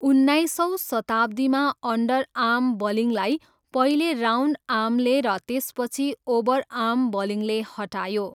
उन्नाइसौँ शताब्दीमा अन्डरआर्म बलिङलाई पहिले राउन्डआर्मले र त्यसपछि ओभरआर्म बलिङले हटायो।